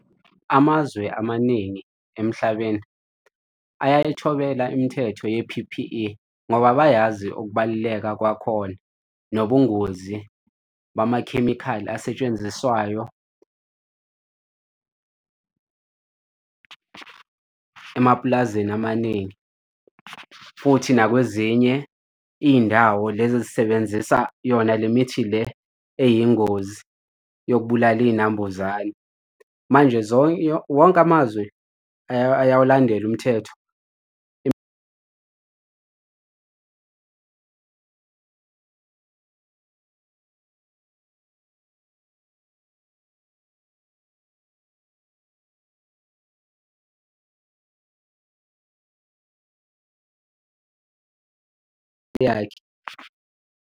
Amazwe amaningi emhlabeni ayayithobela imithetho ye-P_P_E ngoba bayazi ukubaluleka kwakhona, nobungozi bamakhemikhali asetshenziswayo emapulazini amaningi futhi nakwezinye iy'ndawo lezi ezisebenzisa yona le mithi le eyingozi yokubulala iy'nambuzane. Manje wonke amazwe ayawulandela umthetho .